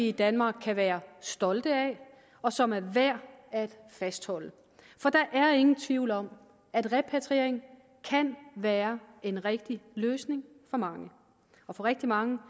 i danmark kan være stolte af og som er værd at fastholde for der er ingen tvivl om at repatriering kan være en rigtig løsning for mange og for rigtig mange